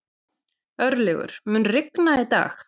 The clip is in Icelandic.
Örlygur, mun rigna í dag?